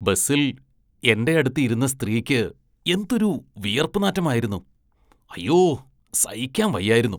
ബസില്‍ എന്റെയടുത്ത് ഇരുന്ന സ്ത്രീക്ക് എന്തൊരു വിയര്‍പ്പ് നാറ്റമായിരുന്നു, അയ്യോ സഹിക്കാന്‍ വയ്യായിരുന്നു.